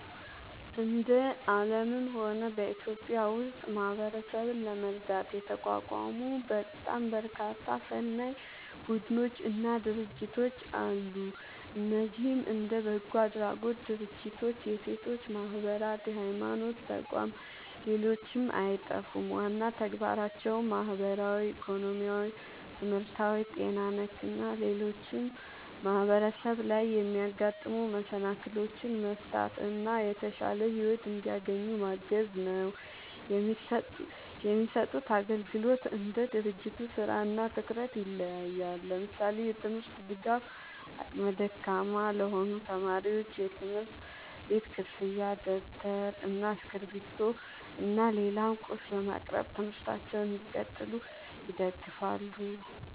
እንደ አለምም ሆነ በኢትዮጵያ ውስጥ ማህበረሰብን ለመርዳት የተቋቋሙ በጣም በርካታ ሰናይ ቡድኖች እና ድርጅቶች አለ። እነዚህም እንደ በጎ አድራጎት ድርጅቶች፣ የሴቶች ማህበራት፣ የሀይማኖት ተቋም ሌሎችም አይጠፉም። ዋና ተግባራቸውም ማህበራዊ፣ ኢኮኖሚያዊ፣ ትምህርታዊ፣ ጤና ነክ እና ሌሎችም ማህበረሰብ ላይ የሚያጋጥሙ መሰናክሎችን መፍታት እና የተሻለ ሒወት እንዲያገኙ ማገዝ ነው። የሚሰጡት አግልግሎት እንደ ድርጅቱ ስራ እና ትኩረት ይለያያል። ለምሳሌ፦ የትምርት ድጋፍ አቅመ ደካማ ለሆኑ ተማሪዎች የትምህርት ቤት ክፍያ ደብተር እና እስክሪብቶ እና ሌላም ቁስ በማቅረብ ትምህርታቸውን እንዲቀጥሉ ይደግፋሉ